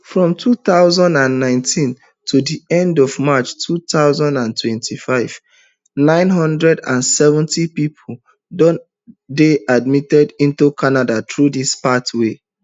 from two thousand and nineteen to di end of march two thousand and twenty-five nine hundred and seventy pipo dey admitted into canada through dis pathway